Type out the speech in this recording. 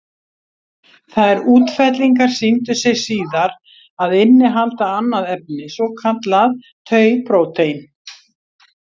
Þær útfellingar sýndu sig síðar að innihalda annað efni, svokallað tau-prótín.